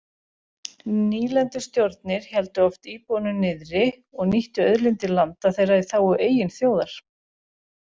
Nýlendustjórnir héldu oft íbúunum niðri og nýttu auðlindir landa þeirra í þágu eigin þjóðar.